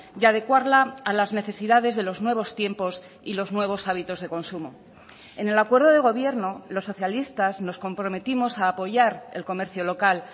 y adecuarla a las necesidades de los nuevos tiempos y los nuevos hábitos de consumo en el acuerdo de gobierno los socialistas nos comprometimos a apoyar el comercio local